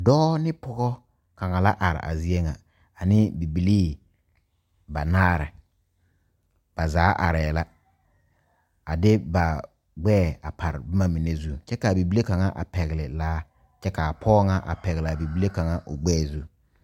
Dɔɔ ne pɔgɔ kaŋa la are a zie ŋa ane bibilii banaare ba zaa arɛɛ la a de ba gbɛɛ a pare boma mine zu kyɛ k,a bibile kaŋa a pɛgle laa kyɛ k,a pɔge ŋa a pɛgle a bibile kaŋa o gbɛɛ zu.